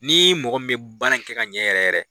Ni mɔgɔ min bɛ baara kɛ ka ɲɛ yɛrɛ yɛrɛ